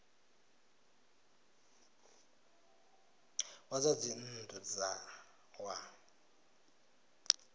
wa zwa dzinn ḓu wa